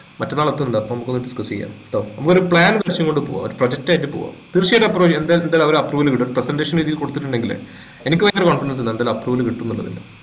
മറ്റന്നാൾ എത്തുന്നുണ്ട് അപ്പൊ നമുക്കൊന്ന് discuss ചെയ്യാം ട്ടോ നമുക്ക് ഒരു plan കൊണ്ട് പോകാം ഒരു project ആയിട്ട് പോവാം തീർച്ചയായിട്ടും approval ചെയ്യും എന്തായാലും ഒരു approval കിട്ടും presentation രീതിയിൽ കൊടുത്തിട്ടുണ്ടെങ്കിലേ എനിക്ക് ഭയങ്കര confidence ഉണ്ട് എന്തായാലും approval കിട്ടുമെന്ന് ഉള്ളത്